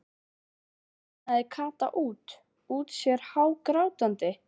bunaði Kata út út sér hágrátandi.